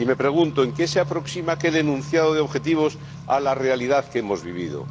Y me pregunto, ¿en qué se aproxima aquel enunciado de objetivos a la realidad que hemos vivido?